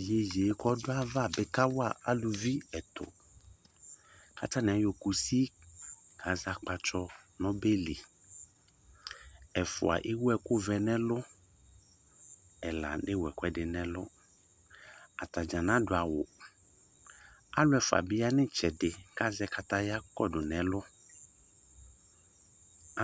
Iyeyee k'ɔdʋ ava bɩ kawa aluvi ɛtʋ, katanɩ ayɔ kusi kazɛ akpatsɔ n'ɔbɛ li Ɛfʋa ewuɛkʋvɛ n'ɛlʋ, ɛla newu ɛkʋɛdɩ n'ɛlʋ; atadza nadʋ awʋ, alʋefʋa bɩ ya n'ɩtsɛdɩ kazɛ kataya kɔdʋ n'ɛlʋ